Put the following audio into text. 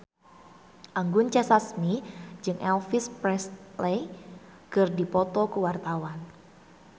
Anggun C. Sasmi jeung Elvis Presley keur dipoto ku wartawan